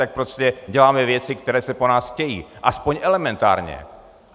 Tak prostě děláme věci, které se po nás chtějí, aspoň elementárně.